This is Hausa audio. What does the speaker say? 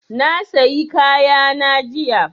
Na sayi kaya na jiya